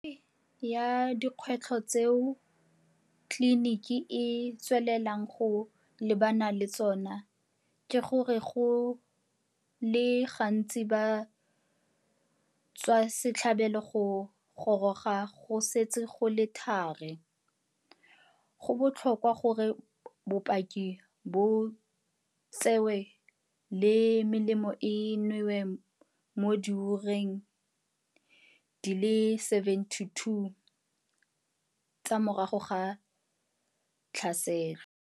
Ya dikgwetlho tseo tliniki e tswelelang go lebana le tsona ke gore go le gantsi batswasetlhabelo ba goroga go setse go le thari - go botlhokwa gore bopaki bo tsewe le melemo e newe mo diureng di le 72 tsa morago ga tlhaselo.